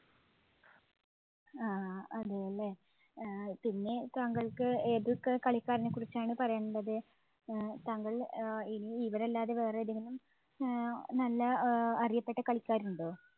ആഹ് അതേല്ലേ, പിന്നെ താങ്കള്‍ക്ക് ഏതൊക്കെ കളിക്കാരനെ കുറിച്ചാണ് പറയാനുള്ളത്? താങ്കള്‍ ഇനി ഇവരല്ലാതെ വേറെ ഏതെങ്കിലും ഏർ നല്ല അറിയപ്പെട്ട അഹ് കളിക്കാരുണ്ടോ?